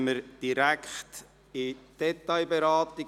Dann kommen wir direkt zur Detailberatung.